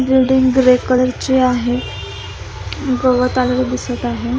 Building grey colour ची आहे गवत आलेल दिसत आहे.